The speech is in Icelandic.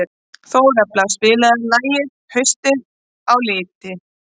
Þórelfa, spilaðu lagið „Haustið á liti“.